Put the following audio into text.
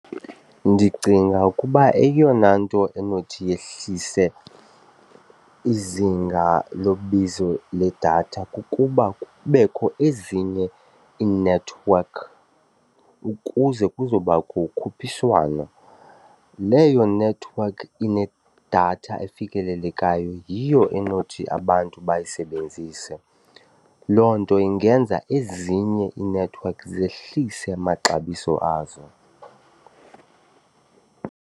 Ndicinga ukuba eyona nto enothi yehlise izinga lobizo ledatha kukuba kubekho ezinye iinethiwekhi ukuze kuzobakho ukhuphiswano. Leyo nethiwekhi inedatha elifikelelekayo yiyo enothi abantu bayisebenzise, loo nto ingenza ezinye iinethiwekhi zehlise amaxabiso azo.